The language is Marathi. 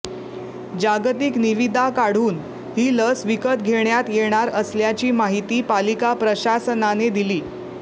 जागतिक निविदा काढून ही लस विकत घेण्यात येणार असल्याची माहिती पालिका प्रशासनाने दिली